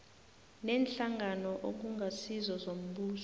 neenhlangano okungasizo zombuso